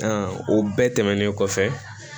o bɛɛ tɛmɛnen kɔfɛ